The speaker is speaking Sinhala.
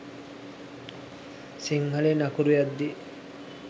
සිංහලෙන් අකුරු යද්දි